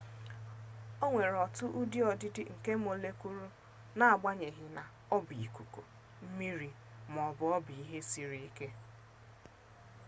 o nwere otu ụdị ọdịdị nke mọlekụụlụ n'agbanyeghị na ọ bụ ikuku mmiri ma ọ bụ ihe siri ke